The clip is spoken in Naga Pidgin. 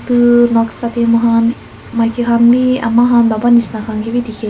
tu noksa tae mohan maki khan bi ama han baba nishi khan kae bi dikhae--